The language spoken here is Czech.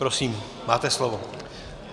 Prosím, máte slovo.